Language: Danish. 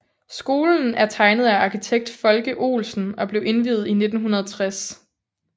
Skolen er tegnet af arkitekt Folke Olsen og blev indviet i 1960